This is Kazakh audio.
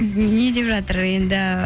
не деп жатыр енді